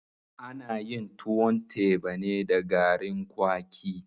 Ana yin tuwon teba ne da garin kwaki.